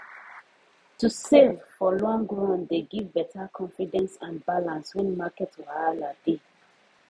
to save for long run dey give better confidence and balance when market wahala dey